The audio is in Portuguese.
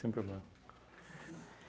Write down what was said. problema.